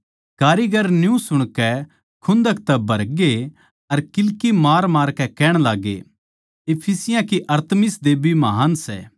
कारीगर न्यू सुणकै खुन्दक तै भरगे अर किल्की मारमारकै कहण लाग्गे इफिसियाँ की अरतिमिस देबी महान् सै